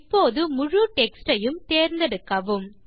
இப்போது முழு டெக்ஸ்ட் யையும் தேர்ந்தெடுக்கவும்